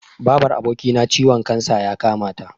Babar abokina ciwon kansa ya kamata.